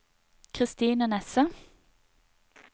Christine Nesse